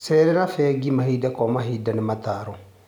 Cerera bengi mahinda kwa mahinda nĩ ũtaaro.